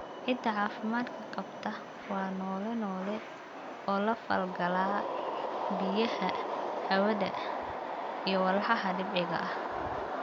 Ciidda caafimaadka qabta waa noole noole oo la falgala biyaha, hawada, iyo walxaha dabiiciga ah.